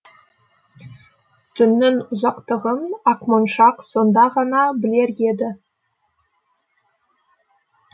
түннің ұзақтығын ақмоншақ сонда ғана білер еді